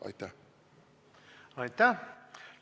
Aitäh!